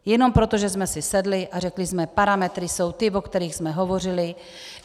Jenom proto, že jsme si sedli a řekli jsme: parametry jsou ty, o kterých jsme hovořili.